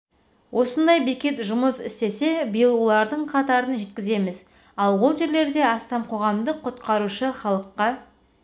осындай бекет жұмыс істесе биыл олардың қатарын жеткіземіз ал ол жерлерде астам қоғамдық құтқарушы халыққа